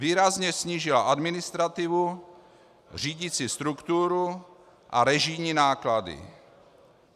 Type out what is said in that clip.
Výrazně snížila administrativu, řídicí strukturu a režijní náklady.